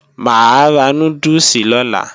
Mà á ra núdùsì lọ́la